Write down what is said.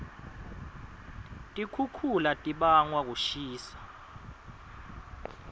tikixukhula tibangwa kushisa